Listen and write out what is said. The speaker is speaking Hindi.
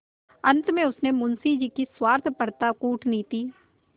अंत में उसने मुंशी जी की स्वार्थपरता कूटनीति